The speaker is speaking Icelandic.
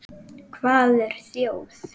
Hvað er þjóð?